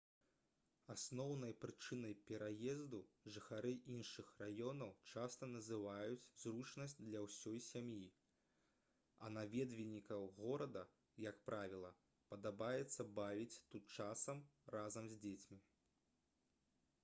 асноўнай прычынай пераезду жыхары іншых раёнаў часта называюць зручнасць для ўсёй сям'і а наведвальнікам горада як правіла падабаецца бавіць тут час разам з дзецьмі